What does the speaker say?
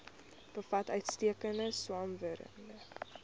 bevat uitstekende swamwerende